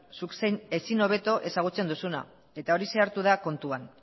zuk zeuk ezin hobeto ezagutzen duzuna eta horixe hartu da kontuan